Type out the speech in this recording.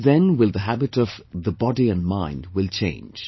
Only then will the habit of the body and mind will change